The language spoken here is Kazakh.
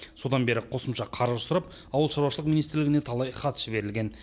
содан бері қосымша қаржы сұрап ауыл шаруашылығы министрлігіне талай хат жіберілген